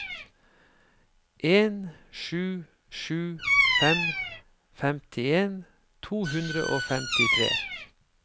en sju sju fem femtien to hundre og femtitre